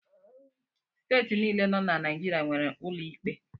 Steeti niile nọ na Naijiria nwere ụlọ ikpe.